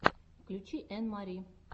включи энн мари